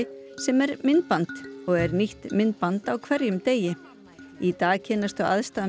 sem er myndband og er nýtt myndband á hverjum degi í dag kynnast þau aðstæðum